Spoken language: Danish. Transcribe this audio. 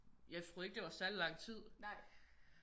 Jeg troede ikke det var særlig lang tid